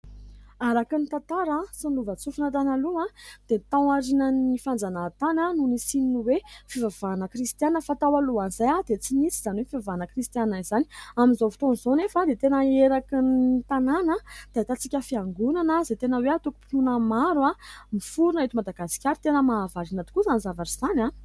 Araka ny tantara sy ny lovan-tsofina tany aloha dia tao aorian'ny fanjanahantany no nisian'ny hoe : fivavahana kristiana fa tao alohan'izay dia tsy nisy izany hoe : fivavahana kristiana izany. Amin'izao fotoan'izao nefa dia tena eraky ny tanàna dia ahitantsika fiangonana izay tena hoe : atokom-pinoana maro miforona eto madagasikara ; tena mahavarina tokoa izany zavatra izany a !